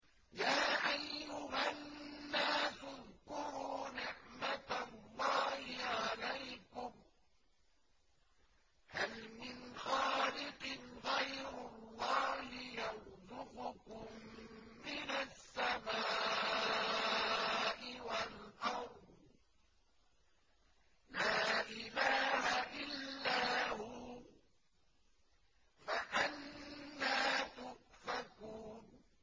يَا أَيُّهَا النَّاسُ اذْكُرُوا نِعْمَتَ اللَّهِ عَلَيْكُمْ ۚ هَلْ مِنْ خَالِقٍ غَيْرُ اللَّهِ يَرْزُقُكُم مِّنَ السَّمَاءِ وَالْأَرْضِ ۚ لَا إِلَٰهَ إِلَّا هُوَ ۖ فَأَنَّىٰ تُؤْفَكُونَ